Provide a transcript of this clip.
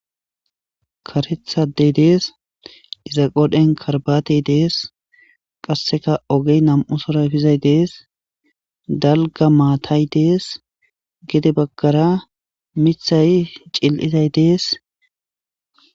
Karetha ade de'es iza qool'en karbatay dees kaseka ogen nam'u suray de'es dalga maatay de'es gedebagara mithay cil'iday de'es.